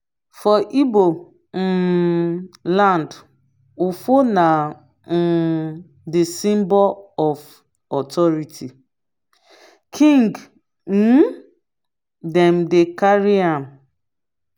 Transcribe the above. for ibo um land ofo na um di symbol of authority. king um dem dey carry am.